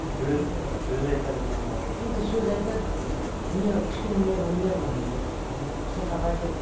сөз ы сөз айтады ма енді сөз айтады ыыы нервы кішкене нервы нервный вот не етеді психовать етіп